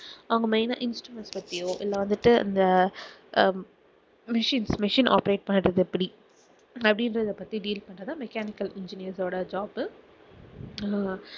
அவங்க main ஆ instrument பத்தியோ இல்ல வந்துட்டு இந்த அஹ் machine machine operate பண்ணுறது எப்படி அப்படின்றதை பத்தி deal பண்ணுறது தான் mechanical engineers ஓட job உ